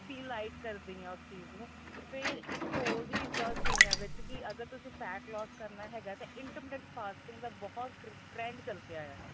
ਵੀ like ਕਰਦੀ ਆ ਉਸ ਚੀਜ਼ ਨੂੰ ਫੇਰ ਇੱਕ ਹੋਰ ਵੀ ਚੀਜ਼ਾ ਸੁਣਿਆ ਵਿੱਚ ਕੀ ਅਗਰ ਤੁਸੀਂ fat loose ਕਰਨਾ ਹੈਗਾ ਤਾਂ intimate fasting ਦਾ ਬਹੁਤ trend ਚੱਲਦਾ